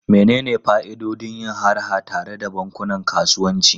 Menene fa'idodin yin harha tare da bankunan kasuwanci?